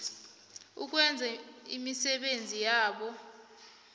ukwenza imisebenzi yabo